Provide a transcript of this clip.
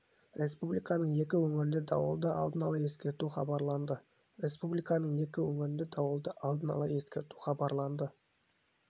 республиканың екі өңіріне дауылды алдын ала ескерту хабарланды республиканың екі өңіріне дауылды алдын ала ескерту хабарланды